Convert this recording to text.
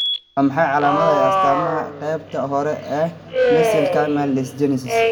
Waa maxay calaamadaha iyo astaamaha qaybta hore ee mesenchymal dysgenesis?